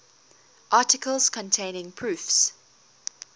articles containing proofs